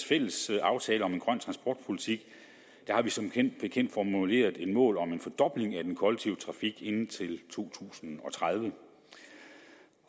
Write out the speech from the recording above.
fælles aftale om en grøn transportpolitik har vi som bekendt formuleret et mål om en fordobling af den kollektive trafik inden to tusind og tredive